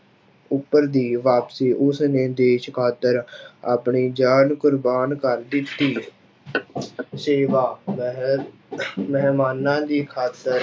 ਉੱਪਰ ਦੀ ਵਾਪਸੀ, ਉਸਨੇ ਦੇਸ ਖ਼ਾਤਰ ਆਪਣੀ ਜਾਨ ਕੁਰਬਾਨ ਕਰ ਦਿੱਤੀ ਸੇਵਾ ਮਹਿ ਮਹਿਮਾਨਾਂ ਦੀ ਖਾਤਰ